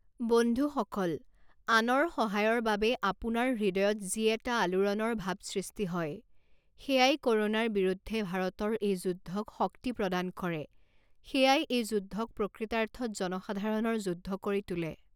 বন্ধুসকল, আনৰ সহায়ৰ বাবে আপোনাৰ হৃদয়ত যি এটা আলোড়নৰ ভাৱ সৃষ্টি হয়, সেয়াই ক’ৰোনাৰ বিৰুদ্ধে ভাৰতৰ এই যুদ্ধক শক্তি প্ৰদান কৰে, সেয়াই এই যুদ্ধক প্ৰকৃতাৰ্থত জনসাধাৰণৰ যুদ্ধ কৰি তোলে।